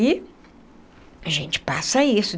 E a gente passa isso.